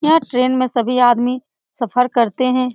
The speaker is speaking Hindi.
यह ट्रेन में सभी आदमी सफर करते हैं।